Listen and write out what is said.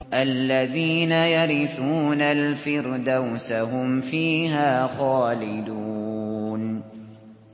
الَّذِينَ يَرِثُونَ الْفِرْدَوْسَ هُمْ فِيهَا خَالِدُونَ